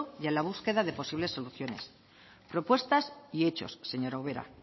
y a la búsqueda de posibles soluciones propuestas y hechos señora ubera